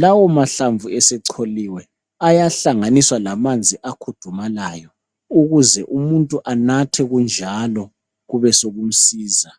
Lawa mahlamvu esecholiwe ayahlanganiswa lamanzi akhudumalayo ukuze umuntu anathe kunjalo kubesokumsiza.